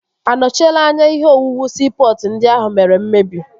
A nochiela anya ihe owuwu siipọtụ ndị ahụ mere mmebi?